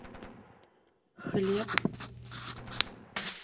хлеб